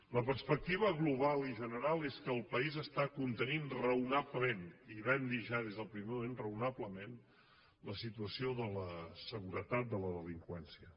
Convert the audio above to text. la perspectiva global i general és que el país està contenint raonablement i vam dir ho ja des del primer moment raonablement la situació de la seguretat de la delinqüència